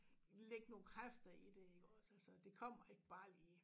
Lægge nogle kræfter i det iggås altså det kommer ikke bare lige